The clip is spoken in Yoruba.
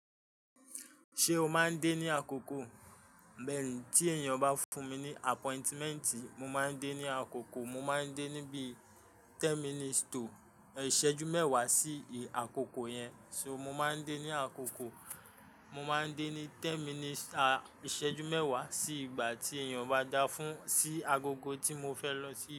Ṣé o máa ń dé ní àkókò? Bẹ̀rẹ̀ tí èèyàn bá fún mi ní appointment, mo máa ń dé ní àkókò. Mo máa ń dé níbí ten minutes tò, ìṣẹ́jú mẹ́wàá sí àkókò yẹn. So mo máa ń dé ní àkókò. Mo máa ń dé ní ten minutes, à, ìṣẹ́jú mẹ́wàá sí ìgbà tí èèyàn bá dá fún, sí agogo tí mo fẹ́ lọ sí.